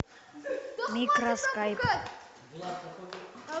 микроскайп